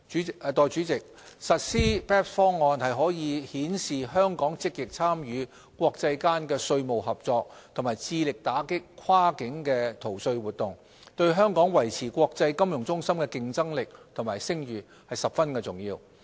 代理主席，實施 BEPS 方案可顯示香港積極參與國際間的稅務合作和致力打擊跨境逃稅活動，對香港維持國際金融中心的競爭力和聲譽十分重要。